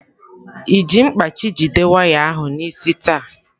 Ị ji mkpachị jide waya ahụ n'isi taa?